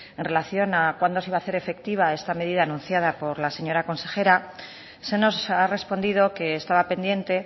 en relación a cuándo se iba a hacer efectiva esta medida anunciada por la señora consejera se nos ha respondido que estaba pendiente